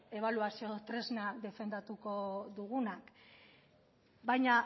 ebaluazio tresna defendatuko dugunak baina